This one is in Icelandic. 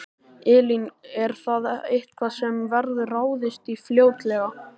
Elín: Er það eitthvað sem verður ráðist í fljótlega?